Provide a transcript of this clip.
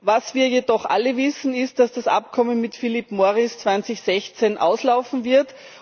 Was wir jedoch alle wissen, ist, dass das Abkommen mit Philip Morris 2016 auslaufen wird.